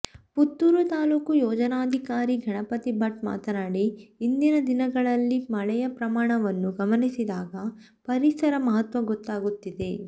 ಪುತ್ತೂರು ತಾಲೂಕು ಯೋಜನಾಧಿಕಾರಿ ಗಣಪತಿ ಭಟ್ ಮಾತನಾಡಿ ಇಂದಿನ ದಿನಗಳಲ್ಲಿ ಮಳೆಯ ಪ್ರಮಾಣವನ್ನು ಗಮನಿಸಿದಾಗ ಪರಿಸರ ಮಹತ್ವ ಗೊತ್ತಾಗುತ್ತಿದೆ